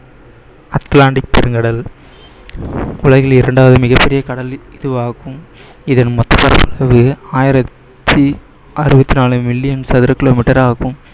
Atlantic பெருங்கடல் உலகில் இரண்டாவது மிகப் பெரிய கடல் இதுவாகும் இதன் மொத்த பரப்பளவு ஆயிரத்தி அறுபத்தி நாலு மில்லியன் சதுர kilometer ஆகும்